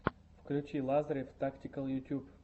включи лазарев тактикал ютьюб